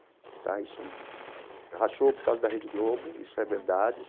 Tá isso rachou por causa da Rede Globo, isso é verdade.